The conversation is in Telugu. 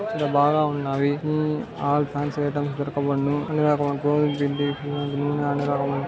ఇక్కడ బాగా ఉన్నవి ఉమ్ ఆల్ ఫాన్సీ ఐటమ్స్ దొరకబడును అన్ని రకములు అయినా --